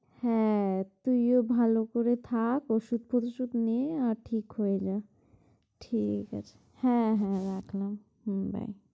হ্যাঁ তুইও ভালো করে থাক, ঔষুধ তোশুধ নিয়ে, আর ঠিক হয়ে যা, ঠিক আছে হ্যাঁ হ্যাঁ, রাখলাম, হুম bye